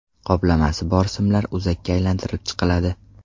Qoplamasi bor simlar o‘zakka aylantirib chiqiladi.